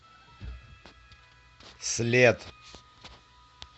след